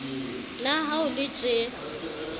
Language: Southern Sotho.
na ha ho le tjee